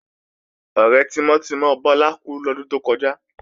Ọ̀rẹ́ tímọ́ tímọ́ Bọ́lá kú lọ́dún tó kọjá